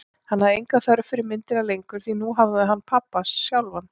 Hann hafði enga þörf fyrir myndina lengur, því nú hafði hann pabba sjálfan.